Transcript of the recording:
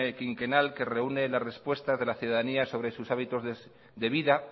quinquenal que reúne las respuestas de la ciudadanía sobre sus hábitos de vida